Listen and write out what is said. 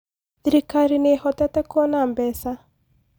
Thirikari nĩĩhotete kuona mbeca